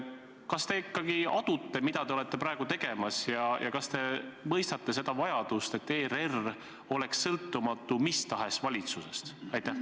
Kas te ikkagi adute, mida te olete praegu tegemas, ja kas te mõistate seda vajadust, et ERR oleks sõltumatu mis tahes valitsusest?